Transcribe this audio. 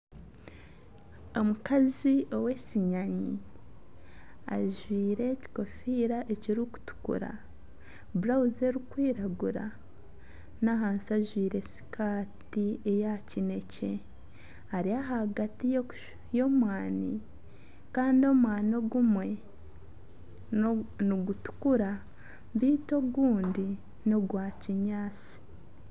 Omukazi ow'esinyanyi ajwaire ekikofiira ekirikutukura, blauzi erikwiragura n'ahansi ajwaire sikati eya kinekye ari ahagati y'omwaani kandi omwaani ogumwe nigutukura beitu ogundi nogwa kinyaatsi.